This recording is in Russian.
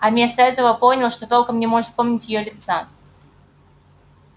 а вместо этого понял что толком не может вспомнить её лица